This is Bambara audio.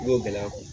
N'o gɛlɛya